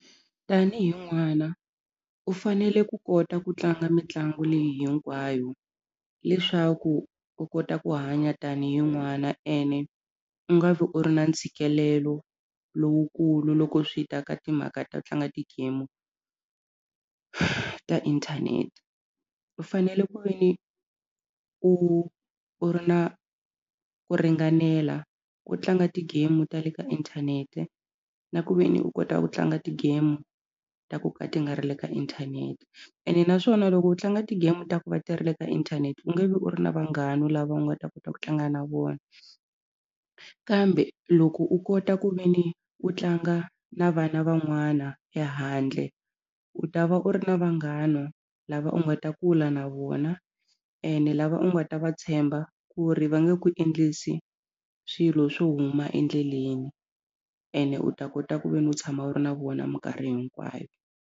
Tanihi n'wana u fanele ku kota ku tlanga mitlangu leyi hinkwayo leswaku u kota ku hanya tanihi n'wana ene u nga vi u ri na ntshikelelo lowukulu loko swi ta ka timhaka to tlanga ti-game ka inthanete u fanele ku ve ni u u ri na ku ringanela ku tlanga ti-game ta le ka inthanete na ku ve ni u kota ku tlanga ti-game ta ku ka ti nga ri le ka inthanete ene naswona loko u tlanga ti-game ta ku va ti ri le ka inthanete u nge vi u ri na vanghana lava u nga ta kota ku tlanga na vona kambe loko u kota ku ve ni u tlanga na vana van'wana ehandle u ta va u ri na vanghana lava u nga ta kula na vona ene lava u nga ta va tshemba ku ri va nge ku endlisi swilo swo huma endleleni ene u ta kota ku ve ni u tshama u ri na vona mikarhi hinkwayo.